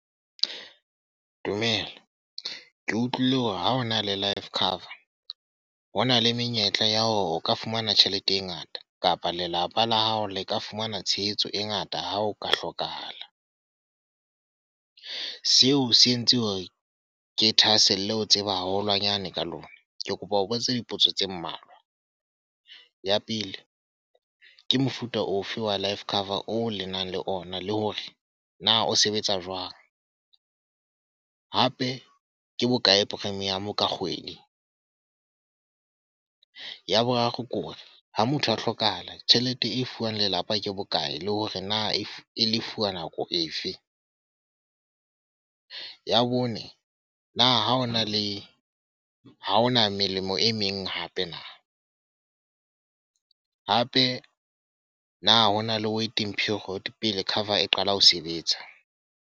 Dumela Ke utlwile hore ha o na le life cover, ho na le menyetla ya hore o ka fumana tjhelete e ngata. Kapa lelapa la hao le ka fumana tshehetso e ngata ha o ka hlokahala. Seo se entse hore ke thahaselle ho tseba haholwanyane ka lona. Ke kopa ho botsa dipotso tse mmalwa. Ya pele, ke mofuta ofe wa life cover oo le nang le ona, le hore na o sebetsa jwang? Hape ke bokae premium ka kgwedi? Ya boraro ke hore, ha motho a hlokahala tjhelete e fuwang lelapa ke bokae, le hore na e e le fuwa nako efe? Ya bone, na ha hona le ha hona melemo e meng hape na? Hape na ho na le waiting period pele cover e qala ho sebetsa?